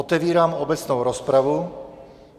Otevírám obecnou rozpravu.